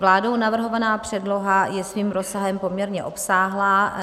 Vládou navrhovaná předloha je svým rozsahem poměrně obsáhlá.